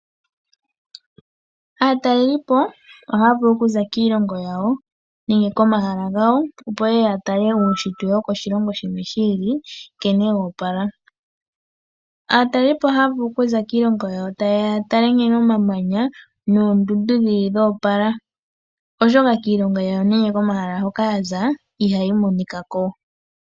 Aatalelipo ohaya vulu okuza kiiilongo yawo, nenge komahala gawo opo yeye yatale uushitwe wokoshilongo shimwe shi ili, nkene wo opala. Aatalelipo ohaya vulu kuza kiilongo yawo taye ya yatale nkene omamanya noondundu yo opala, oshoka kiilongo yawo hoka yaza ihayi monika ko.